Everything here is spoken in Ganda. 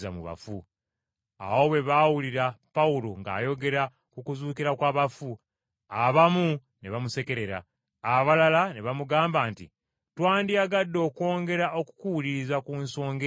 Awo bwe baawulira Pawulo ng’ayogera ku kuzuukira kw’abafu, abamu ne bamusekerera, abalala ne bamugamba nti, “Twandiyagadde okwongera okukuwuliriza ku nsonga eyo olulala.”